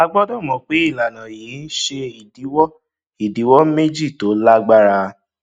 a gbọdọ mọ pé ìlànà yìí ń ṣe ìdíwọ ìdíwọ méjì tó lágbára